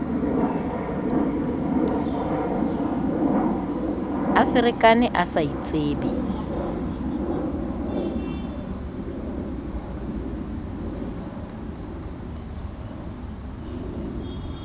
a ferekane a sa itsebe